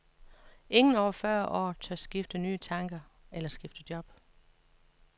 Ingen over fyrre år tør tænke nye tanker eller skifte job.